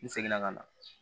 N segin na ka na